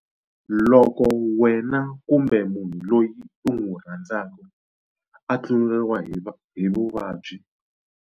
Loko wena umbe munhu loyi u n'wi rhandzaka a tluleriwa hi vuvabyi?